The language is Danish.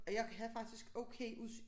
Og jeg havde faktisk okay udsyn